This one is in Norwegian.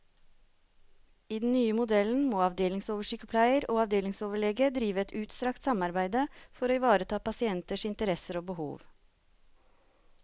I den nye modellen må avdelingsoversykepleier og avdelingsoverlege drive et utstrakt samarbeide for å ivareta pasienters interesser og behov.